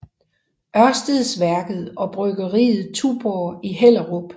Ørstedsværket og bryggeriet Tuborg i Hellerup